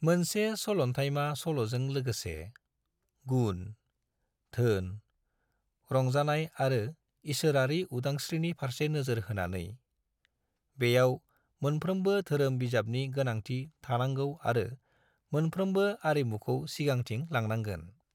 मोनसे सलन्थायमा सल'जों लोगोसे, गुन, धोन, रंजानाय आरो इसोरारि उदांस्रीनि फारसे नोजोर होनानै, बेयाव मोनफ्रोमबो धोरोम बिजाबनि गोनांथि थानांगौ आरो मोनफ्रोमबो आरिमुखौ सिगांथिं लांनांगोन।